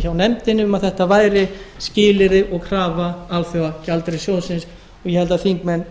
hjá nefndinni um að þetta væri skilyrði og krafa alþjóðagjaldeyrissjóðsins og ég held að þingmenn